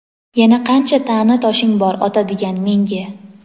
Yana qancha ta’na toshing bor otadigan menga ?.